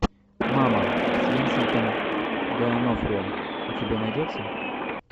мама с винсентом д онофрио у тебя найдется